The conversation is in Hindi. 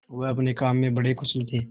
वह अपने काम में बड़े कुशल थे